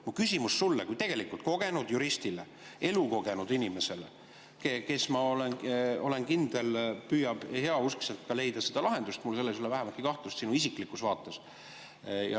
Minu küsimus on sulle kui kogenud juristile, elukogenud inimesele, kes, ma olen kindel, püüab heauskselt leida lahendust, mul ei ole selles vähematki kahtlust sinu isiklikus vaates.